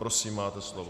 Prosím, máte slovo.